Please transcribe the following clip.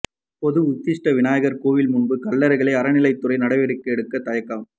பொது உச்சிஷ்ட விநாயகர் கோவில் முன்பு கல்லறைகள் அறநிலையத்துறை நடவடிக்கை எடுக்க தயக்கம்